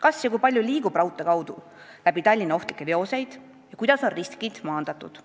Kas ja kui palju liigub raudtee kaudu läbi Tallinna ohtlikke veoseid ja kuidas on riskid maandatud?